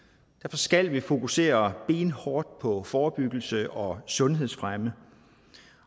skal vi fokusere benhårdt på forebyggelse og sundhedsfremme